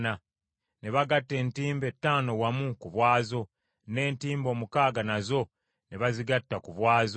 Ne bagatta entimbe ttaano wamu ku bwazo, n’entimbe omukaaga nazo ne bazigatta ku bwazo.